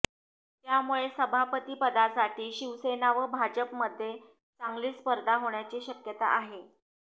त्यामुळे सभापतीपदासाठी शिवसेना व भाजपमध्ये चांगलीच स्पर्धा होण्याची शक्यता आहे